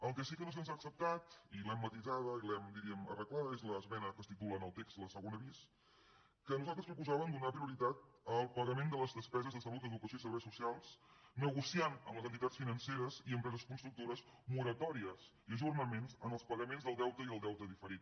la que sí que no se’ns ha acceptat i l’hem matisada i l’hem diríem arreglada és l’esmena que es titula en el text segona bis amb què nosaltres proposàvem donar prioritat al pagament de les despeses de salut educació i serveis socials negociant amb les entitats financeres i empreses constructores moratòries i ajornaments en els pagaments del deute i el deute diferit